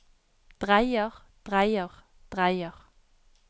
dreier dreier dreier